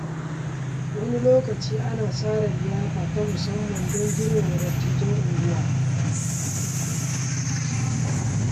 Wani lokaci ana tsara liyafa ta musamman don girmama dattijan unguwa.